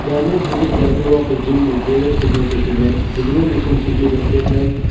image depicts the interior of a gym with various fitness equipment visible machines include the treadmill.